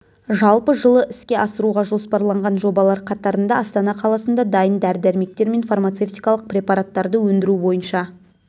жалпы жылы іске асыруға жоспарланған жобалар қатарында астана қаласында дайын дәрі-дәрмектер мен фармацевтикалық препараттарды өндіру бойынша